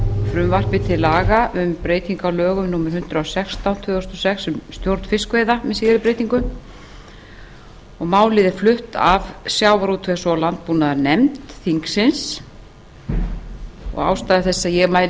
frumvarpi til laga um breytingu á lögum númer hundrað og sextán tvö þúsund og sex um stjórn fiskveiða með síðari breytingum málið er flutt af sjávarútvegs og landbúnaðarnefnd þingsins og ástæða þess að ég mæli